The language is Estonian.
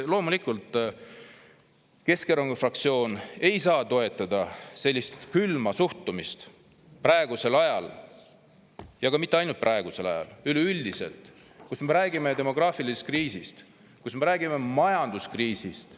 Loomulikult ei saa Keskerakonna fraktsioon toetada sellist külma suhtumist praegusel ajal ja mitte ainult praegusel ajal, üleüldiselt, kui me räägime demograafilisest kriisist, kui me räägime majanduskriisist.